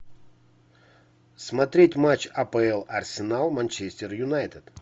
смотреть матч апл арсенал манчестер юнайтед